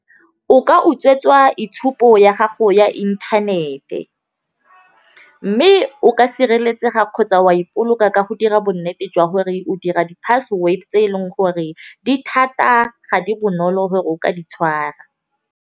O ka utswetswa itshupo ya gago ya inthanete. Mme o ka sireletsega kgotsa wa ipolokela ka go dira bonnete jwa gore o dira di-password, tse eleng gore di thata ga di bonolo gore o ka di tshwara.